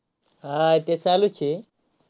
हा ते चालूच आहे.